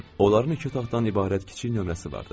Onların iki otaqdan ibarət kiçik nömrəsi vardı.